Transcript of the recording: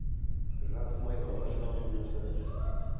жарыс майданына шығамыз бұйырса қазір